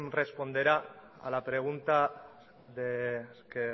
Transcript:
responderá a la pregunta que